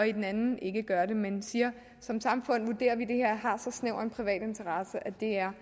i den anden ende gør det men siger at som samfund vurderer vi at det her har så snæver en privat interesse at det er